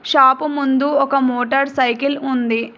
చాపు ముందు ఒక motorcycle ఉంది.